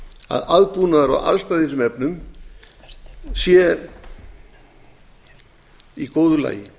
að aðbúnaður og aðstæður í þessum efnum séu í góðu lagi